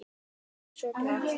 Ekki svo glatt.